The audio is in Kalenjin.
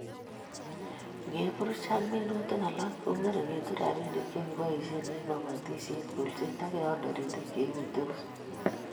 Ngeburuch ak minutik alak kong'ering'itu rabiinik che keboisie eng kobotishet ,kolset ak keon taritik che uitos